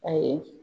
Ayi